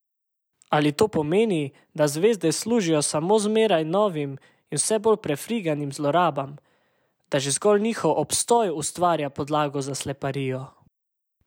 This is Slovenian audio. Ali to pomeni, da zvezde služijo samo zmeraj novim in vse bolj prefriganim zlorabam, da že zgolj njihov obstoj ustvarja podlago za sleparijo?